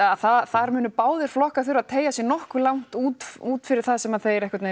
þar munu báðir flokkar þurfa að tegja sig langt út út fyrir það sem þeir